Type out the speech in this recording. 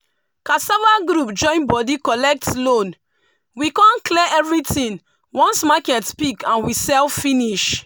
cassava group join body collect loan we con clear everything once market pick and we sell finish.